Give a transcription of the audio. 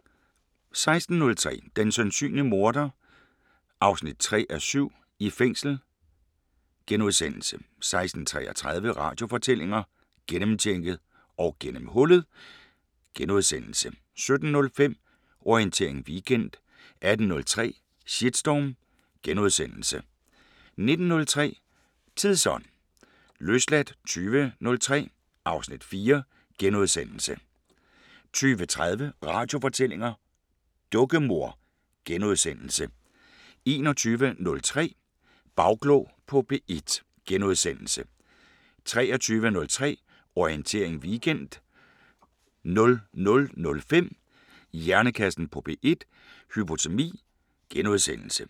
16:03: Den sandsynlige morder 3:7 – I fængsel * 16:33: Radiofortællinger: Gennemtjekket og gennemhullet * 17:05: Orientering Weekend 18:03: Shitstorm * 19:03: Tidsånd * 20:03: Løsladt (Afs. 4)* 20:30: Radiofortællinger: Dukkemor * 21:03: Bagklog på P1 * 23:03: Orientering Weekend 00:05: Hjernekassen på P1: Hypotermi *